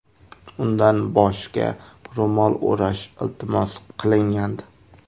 Undan boshga ro‘mol o‘rash iltimos qilingandi.